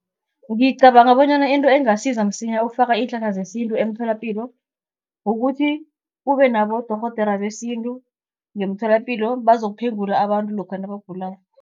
Ngicabanga bonyana into engasiza msinya ukufaka iinhlahla zesintu emtholapilo, kukuthi kube nabodorhodera besintu ngemtholapilo bazokuphengula abantu lokha nabagulako.